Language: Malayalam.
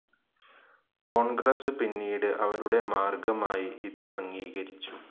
കോൺഗ്രസ്‌ പിന്നീട് അവരുടെ മാർഗ്ഗമായി ഇത് അംഗീകരിച്ചു.